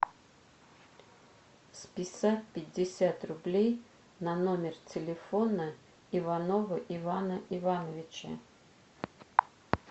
списать пятьдесят рублей на номер телефона иванова ивана ивановича